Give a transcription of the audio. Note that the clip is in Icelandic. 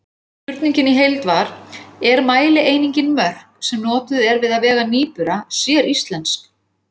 Spurningin í heild var: Er mælieiningin mörk sem er notuð við að vega nýbura séríslensk?